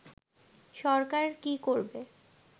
সরকার কী করবে